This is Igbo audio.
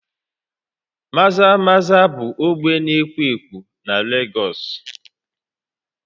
Maza-Maza bụ ogbe na-ekwo ekwo na Lagos